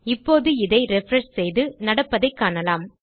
இப்போது இதை ரிஃப்ரெஷ் செய்து நடப்பதை காணலாம்